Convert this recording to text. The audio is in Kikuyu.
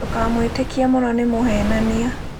Ndũkamwĩtĩkie mũno nĩ mũhenania